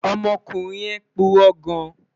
Ọmọkunrin yẹn purọ gan